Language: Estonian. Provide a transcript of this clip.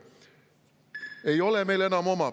Ei ole meil enam …